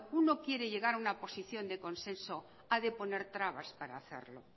uno quiere llegar a una posición de consenso ha de poner trabas para hacerlo